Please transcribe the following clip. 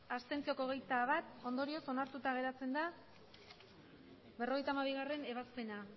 abstentzioak hogeita bat ondorioz onartuta geratzen da berrogeita hamabigarrena ebazpena